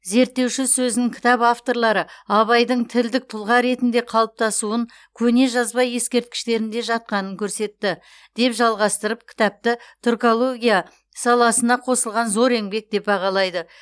зерттеуші сөзін кітап авторлары абайдың тілдік тұлға ретінде қалыптасуын көне жазба ескерткіштерінде жатқанын көрсетті деп жалғастырып кітапты түркология саласына қосылған зор еңбек деп бағалайды